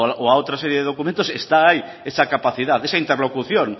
o a otra serie de documentos está ahí esa capacidad esa interlocución